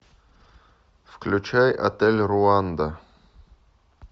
включай отель руанда